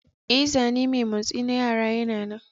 Ee, zane mai motsi na yara yana nan.